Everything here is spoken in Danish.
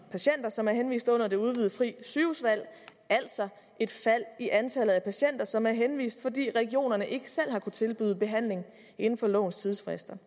patienter som er henvist under det udvidede frie sygehusvalg altså et fald i antallet af patienter som er henvist fordi regionerne ikke selv har kunnet tilbyde behandling inden for lovens tidsfrister